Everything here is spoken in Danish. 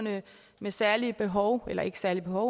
med særlige behov eller ikke særlige